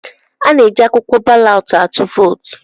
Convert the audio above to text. Ana-eji akwụkwọ balọt atụ vootu.